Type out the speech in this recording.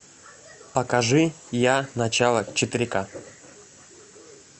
покажи я начало четыре ка